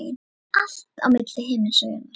Allt milli himins og jarðar.